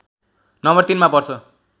number ३ मा पर्छ